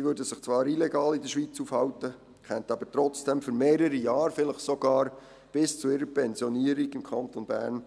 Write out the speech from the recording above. Sie würden sich zwar illegal in der Schweiz aufhalten, könnten aber trotzdem für mehrere Jahre, vielleicht sogar bis zu ihrer Pensionierung, im Kanton Bern